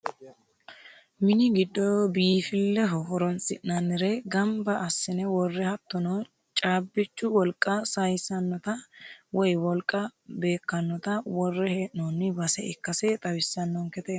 mini giddo biifilleho horonsi'nannire ganba assine worre hattono caabbichu wolqa sayiissannota woye wolqa beekkannota worre hee'noonni base ikkase xawissannonkete yaate